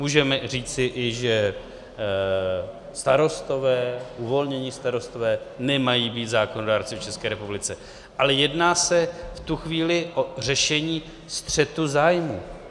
Můžeme i říci, že starostové, uvolnění starostové nemají být zákonodárci v České republice, ale jedná se v tu chvíli o řešení střetu zájmů.